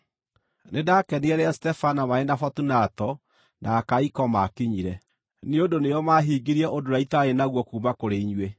Nĩndakenire rĩrĩa Stefana, marĩ na Fotunato, na Akaiko maakinyire, nĩ ũndũ nĩo maahingĩirie ũndũ ũrĩa itaarĩ naguo kuuma kũrĩ inyuĩ.